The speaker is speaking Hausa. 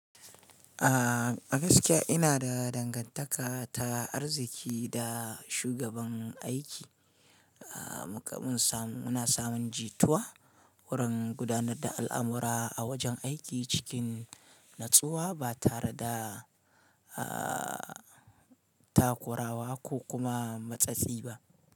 A gaskiya ina da dangantaka ta arziki da shugaban aiki. Muna samun jituwa wurin gudanar da al'amura a wajen aiki cikin natsuwa ba tare da takurawa ko kuma matsatsi ba.